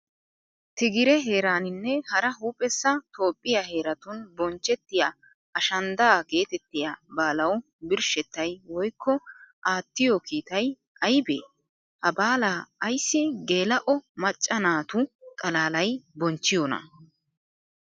Tigire heeraaninne hara huuphessa Toophphiyaa heeratun bonchchettiya ashanddaa geetettiya baalawu birshshettay woykko aattiyo kiitay aybee? Ha baalaa ayssi geela'o macca naatu xalaalay bonchchiyonaa?